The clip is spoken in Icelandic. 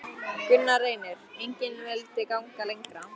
Gunnar Reynir: Engin vildi ganga lengra?